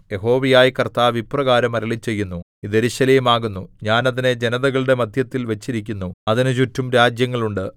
യഹോവയായ കർത്താവ് ഇപ്രകാരം അരുളിച്ചെയ്യുന്നു ഇത് യെരൂശലേം ആകുന്നു ഞാൻ അതിനെ ജനതകളുടെ മദ്ധ്യത്തിൽ വച്ചിരിക്കുന്നു അതിന് ചുറ്റും രാജ്യങ്ങൾ ഉണ്ട്